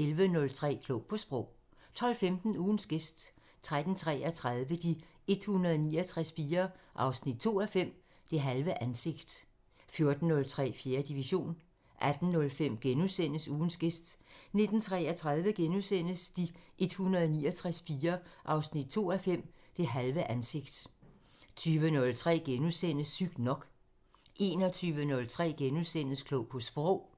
11:03: Klog på Sprog 12:15: Ugens gæst 13:33: De 169 piger 2:5 – Det halve ansigt 14:03: 4. division 18:05: Ugens gæst * 19:33: De 169 piger 2:5 – Det halve ansigt * 20:03: Sygt nok * 21:03: Klog på Sprog *